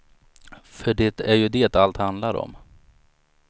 För det är ju det allt handlar om.